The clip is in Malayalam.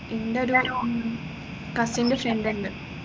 ഇന്റെ cousin ൻറെ friend ഉണ്ട്